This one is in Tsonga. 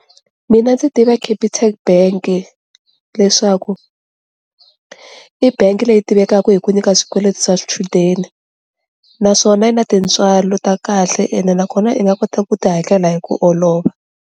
Mina ndzi tiva Capitec bank leswaku i bank leyi tivekaka hi ku nyika swikweleti swa swichudeni naswona yi na tintswalo ta kahle ene nakona i nga kota ku ti hakela hi ku olova.